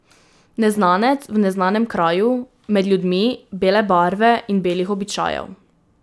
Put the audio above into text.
Neznanec v neznanem kraju, med ljudmi bele barve in belih običajev.